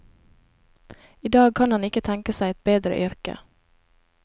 I dag kan han ikke tenke seg et bedre yrke.